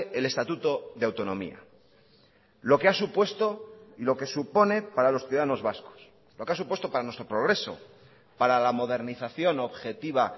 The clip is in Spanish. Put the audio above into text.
el estatuto de autonomía lo que ha supuesto y lo que supone para los ciudadanos vascos lo que ha supuesto para nuestro progreso para la modernización objetiva